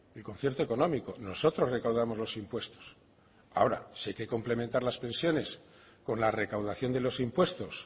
el concierto económico nosotros recaudamos los impuestos ahora si hay que complementar las pensiones con la recaudación de los impuestos